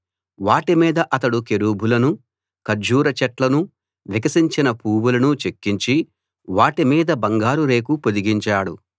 వాటి మీద అతడు కెరూబులనూ ఖర్జూర చెట్లనూ వికసించిన పూవులనూ చెక్కించి వాటి మీద బంగారు రేకు పొదిగించాడు